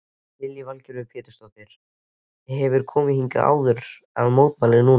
Lillý Valgerður Pétursdóttir: Hefurðu komið hingað áður að mótmæla núna?